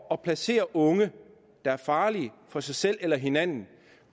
at placere unge der er farlige for sig selv eller for hinanden